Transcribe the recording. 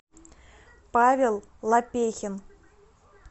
павел лопехин